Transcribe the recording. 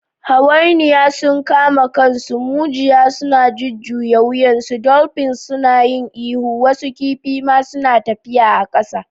Hawainiya sun kama kansu, mujiya suna jujjuya wuyansu, dolphins suna yin ihu, wasu kifi ma suna tafiya a ƙasa!